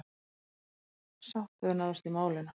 Sátt hefur náðst í málinu.